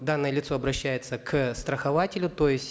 данное лицо обращается к страхователю то есть